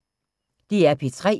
DR P3